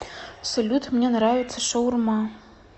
салют мне нравится шаурма